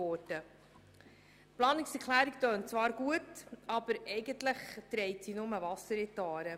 Die Planungserklärung klingt zwar gut, aber eigentlich trägt sie nur Wasser in die Aare.